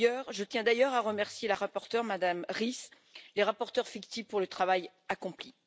Je tiens d'ailleurs à remercier la rapporteure, Madame Ries, et les rapporteurs fictifs pour le travail accompli.